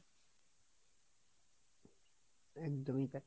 একদমই তাই,